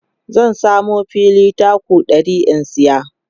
zan samu fili taku 100 in saya